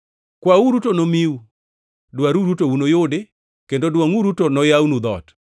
“Kwauru to nomiu; dwaruru to unuyudi; kendo dwongʼuru to noyawnu dhoot.